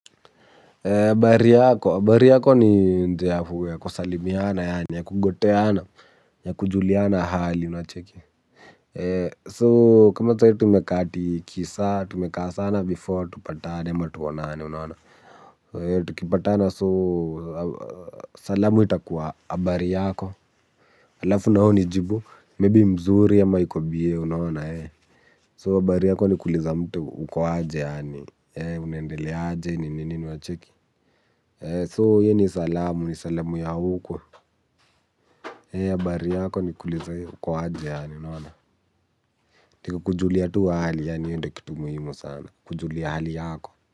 Habari yako, habari yako ni njia ya kusalimiana, yani ya kugoteana, ya kujuliana hali, unacheki. So, kama sahii tumekaa ati kisaa, tumekaa sana before, tupatane ama tuonane, unaona. So, tukipatana, so, salamu itakuwa, habari yako. Alafu na wewe unijibu, maybe mzuri ama iko bie, unaona, ee. So, habari yako ni kuuliza mtu uko aje yaani, unaendele aje, ninini, unacheki. So hii ni salamu ni salamu ya huku. Hii habari yako ni kuuliza uko aje yaani ni kukujulia tu hali yaani hiyo ndio kitu muhimu sana. Kujulia hali yako.